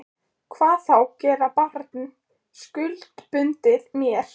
Hvað þá gera barn skuldbundið mér.